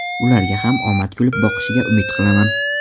Ularga ham omad kulib boqishiga umid qilaman”.